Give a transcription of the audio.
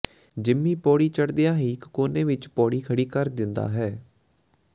Jimmy ਪੌੜੀ ਚੜ੍ਹਦਿਆਂ ਹੀ ਇਕ ਕੋਨੇ ਵਿਚ ਪੌੜੀ ਖੜ੍ਹੀ ਕਰ ਦਿੰਦਾ ਹੈ